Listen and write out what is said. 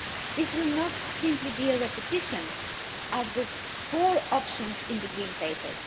This will not simply be a repetition of the four options in the green paper.